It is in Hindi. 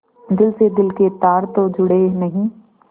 दिल से दिल के तार तो जुड़े नहीं